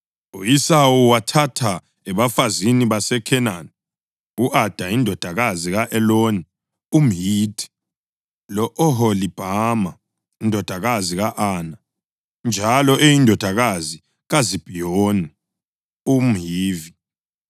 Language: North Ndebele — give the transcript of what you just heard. U-Esawu wathatha ebafazini baseKhenani: u-Ada indodakazi ka-Eloni umHithi, lo-Oholibhama indodakazi ka-Ana, njalo eyindodakazi kaZibhiyoni umHivi,